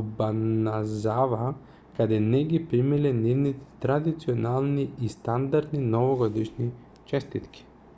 обаназава дека не ги примиле нивните традиционални и стандардни новогодишни честитки